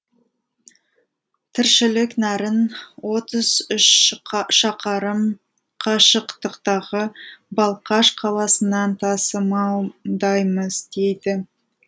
тіршілік нәрін отыз үш шақырым қашықтықтағы балқаш қаласынан тасымалдаймыз дейді